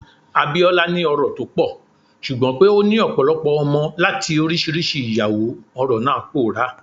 Abiola ni ọrọ̀ tó pọ̀, ṣùgbọ́n pé ó ní ọ̀pọ̀lọpọ̀ ọmọ láti oríṣiríṣi ìyàwó, ọrọ̀ náà pòórá.